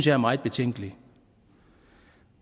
er meget betænkeligt